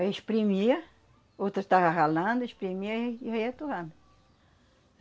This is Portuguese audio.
Aí exprimia, outra estava ralando, exprimia e e ia torrando.